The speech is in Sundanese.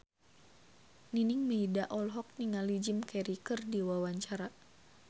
Nining Meida olohok ningali Jim Carey keur diwawancara